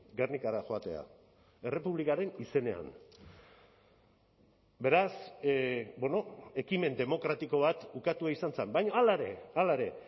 gernikara joatea errepublikaren izenean beraz ekimen demokratiko bat ukatua izan zen baina hala ere hala ere